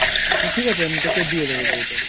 ঠিক আছে আমি তোকে দিয়ে বইটা